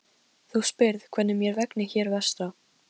Þú spyrð hvernig mér vegni hér vestra.